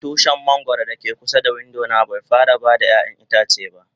Tushin mangoro da ke kusa da window na bai fara bayar ƴayan itace ba.